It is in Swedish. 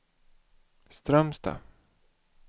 Strömstad